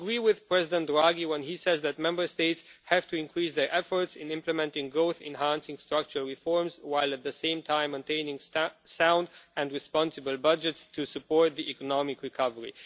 I agree with President Draghi when he says that Member States have to increase their efforts in implementing growth enhancing structural reforms, while at the same time maintaining sound and responsible budgets to support the economic recovery.